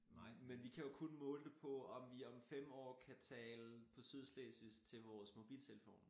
Men vi kan jo kun måle det på om vi om fem år kan tale på sydslesvigsk til vores mobil telefoner